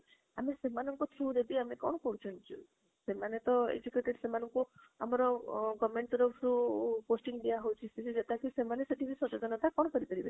ଆମେ ସେମାଙ୍କ through ରେ ବି ଆମେ କଣ ସେମାନେ ତ educated ସେମାନଙ୍କୁ ଆମ government ରୁ posting ଦିଅ ହାଉଛ ତାକି ତ ସେମାନେ ସେଇଠିବି କଥା କଣ କରି ପାରିବେ?